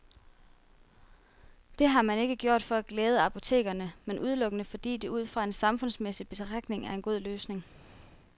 Det har man ikke gjort for at glæde apotekerne, men udelukkende fordi det ud fra en samfundsmæssig betragtning er en god løsning.